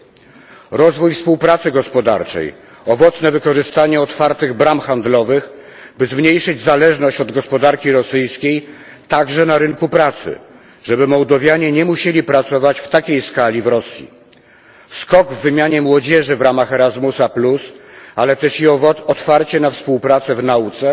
To oznacza rozwój współpracy gospodarczej, owocne wykorzystanie otwartych bram handlowych, by zmniejszyć zależność od gospodarki rosyjskiej także na rynku pracy, żeby Mołdowianie nie musieli pracować na taką skalę w Rosji. To oznacza skok w wymianie młodzieży w ramach Erasmusa, ale też i otwarcie na współpracę w nauce